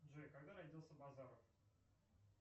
джой когда родился базаров